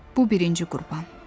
Bu birinci qurban.